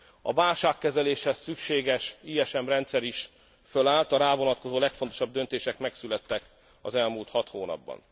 A válságkezeléshez szükséges ISM rendszer is fölállt, a rá vonatkozó legfontosabb döntések megszülettek az elmúlt hat hónapban.